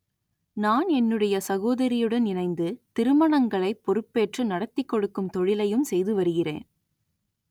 நான் என்னுடைய சகோதரியுடன் இணைந்து திருமணங்களை பொறுப்பேற்று நடத்திக் கொடுக்கும் தொழிலையும் செய்து வருகிறேன்